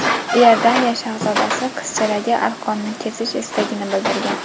Iordaniya shahzodasi qizchadagi arqonni kesish istagini bildirgan.